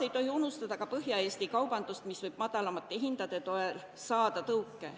Ei tohi ju unustada ka Põhja-Eesti kaubandust, mis võib madalamate hindade toel tõuke saada.